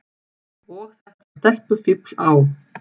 Og þetta stelpufífl á